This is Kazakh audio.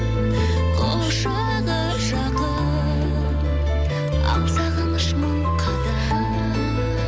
құшағы жақын ал сағыныш мың қадам